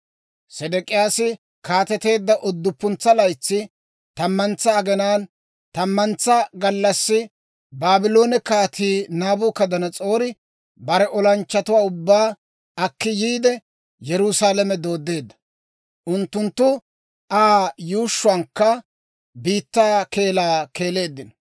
Sedek'iyaasi kaateteedda udduppuntsa laytsi, tammantsa aginaan, tammantsa gallassi Baabloone Kaatii Naabukadanas'oori bare olanchchatuwaa ubbaa akki yiide, Yerusaalame dooddeedda. Unttunttu Aa yuushshuwankka biittaa keelaa keeleeddino.